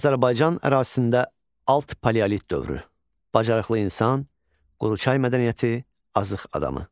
Azərbaycan ərazisində alt paleolit dövrü, bacarıqlı insan, Quruçay mədəniyyəti, Azıq adamı.